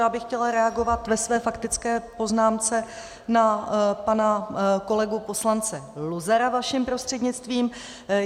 Já bych chtěla reagovat ve své faktické poznámce na pana kolegu poslance Luzara vaším prostřednictvím.